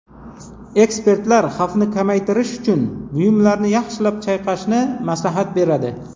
Ekspertlar xavfni kamaytirish uchun buyumlarni yaxshilab chayqashni maslahat beradi.